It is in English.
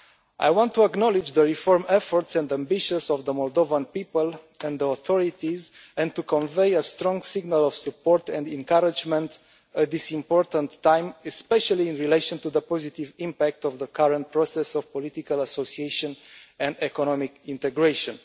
I want to acknowledge the reform efforts and ambitions of the Moldovan people and the authorities and to convey a strong signal of support and encouragement at this important time, especially in relation to the positive impact of the current process of political association and economic integration.